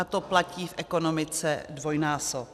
A to platí v ekonomice dvojnásob.